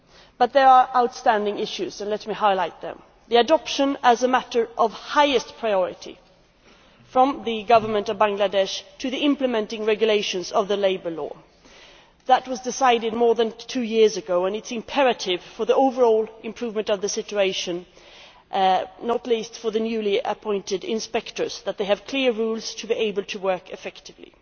But there are outstanding issues and let me highlight them. The first of these is the adoption as a matter of highest priority by the Government of Bangladesh of the implementing regulations of the Labour Law. That was decided more than two years ago and it is imperative for the overall improvement of the situation, not least for the newly appointed inspectors in order for them to have clear rules to be able to work effectively.